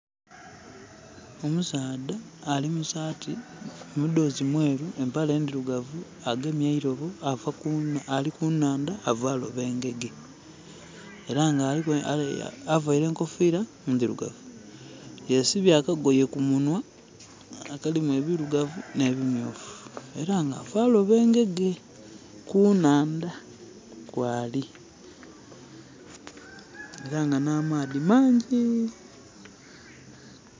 Omusaadha ali mu saati, mudhozi mweru empale ndhirugavu agemye eirobo ali kunhanda ava loba engege. Era nga aveare ekufira ndirugavu, yesibye akagoye kumunwa nga kalimu ebirugavu nhe bimyufu era nga ava loba engege kunhanda kwali era nga na maadhi mangi.